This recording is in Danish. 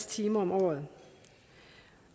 timer om året